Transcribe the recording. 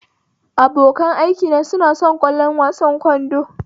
Abokan aikina suna son kallon wasan ƙwallon kwando